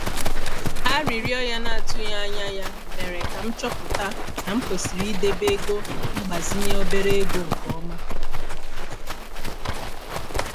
Arịrịọ ya na-atụghị anya ya mere ka m chọpụta na m kwesịrị ịdebe ego mgbazinye obere ego nke ọma.